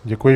Děkuji.